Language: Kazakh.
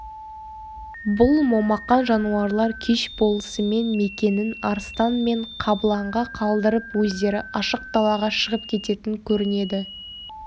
бұл момақан жануарлар кеш болысымен мекенін арыстан мен қабыланға қалдырып өздері ашық далаға шығып кететін көрінеді